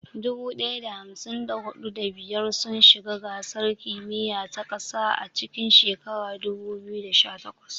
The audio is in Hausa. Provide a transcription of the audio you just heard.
Dubu ɗaya da hamsin da huɗu, da biyar sun shiga gasar kimiyya ta ƙasa a cikin shekarar 2018.